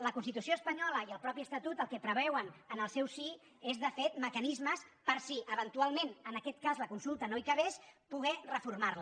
la constitució espanyola i el mateix estatut el que preveuen en el seu si és de fet mecanismes per si eventualment en aquest cas la consulta no hi cabés poder reformarla